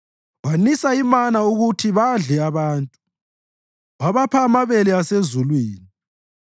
wanisa imana ukuthi badle abantu, wabapha amabele asezulwini.